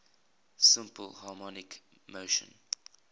simple harmonic motion